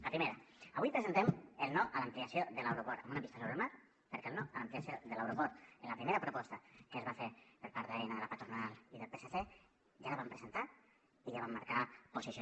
la primera avui presentem el no a l’ampliació de l’aeroport amb una pista sobre el mar perquè el no a l’ampliació de l’aeroport a la primera proposta que es va fer per part d’aena la patronal i el psc ja la vam presentar i ja vam marcar posició